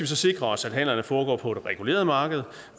så sikre os at handlerne foregår på et reguleret marked